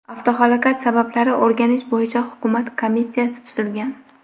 Avtohalokat sabablari o‘rganish bo‘yicha Hukumat komissiyasi tuzilgan.